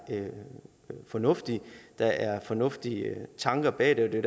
fornuftig at der er fornuftige tanker bag det og det